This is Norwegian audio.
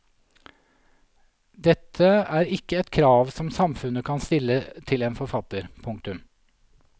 Dette er ikke et krav som samfunnet kan stille til en forfatter. punktum